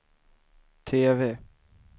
TV